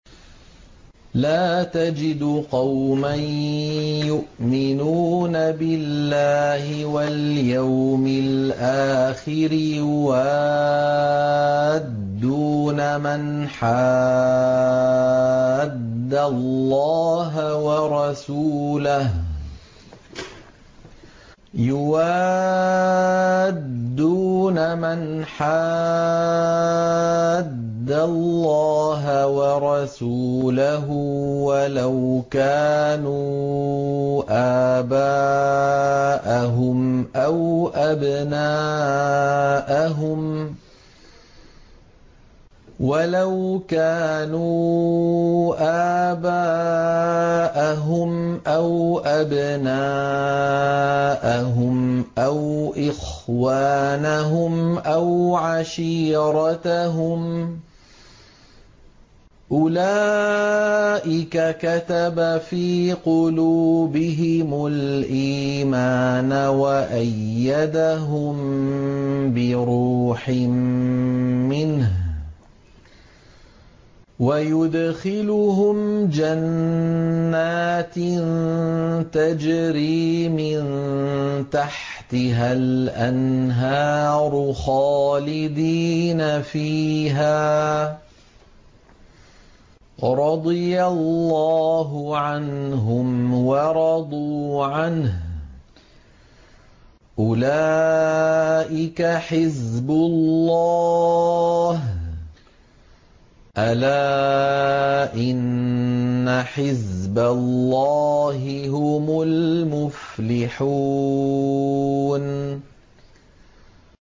لَّا تَجِدُ قَوْمًا يُؤْمِنُونَ بِاللَّهِ وَالْيَوْمِ الْآخِرِ يُوَادُّونَ مَنْ حَادَّ اللَّهَ وَرَسُولَهُ وَلَوْ كَانُوا آبَاءَهُمْ أَوْ أَبْنَاءَهُمْ أَوْ إِخْوَانَهُمْ أَوْ عَشِيرَتَهُمْ ۚ أُولَٰئِكَ كَتَبَ فِي قُلُوبِهِمُ الْإِيمَانَ وَأَيَّدَهُم بِرُوحٍ مِّنْهُ ۖ وَيُدْخِلُهُمْ جَنَّاتٍ تَجْرِي مِن تَحْتِهَا الْأَنْهَارُ خَالِدِينَ فِيهَا ۚ رَضِيَ اللَّهُ عَنْهُمْ وَرَضُوا عَنْهُ ۚ أُولَٰئِكَ حِزْبُ اللَّهِ ۚ أَلَا إِنَّ حِزْبَ اللَّهِ هُمُ الْمُفْلِحُونَ